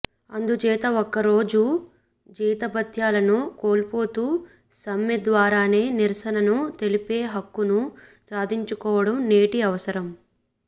అందుచేత ఒకరోజు జీతభత్యాలను కోల్పోతూ సమ్మె ద్వారానే నిరసనను తెలిపే హక్కును సాధించుకోవడం నేటి అవసరం